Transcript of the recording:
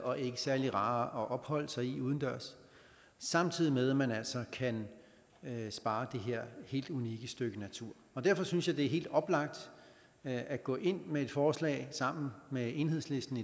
og ikke særlig rare at opholde sig i udendørs samtidig med at man altså kan spare det her helt unikke stykke natur derfor synes jeg det er helt oplagt at gå ind med et forslag sammen med enhedslisten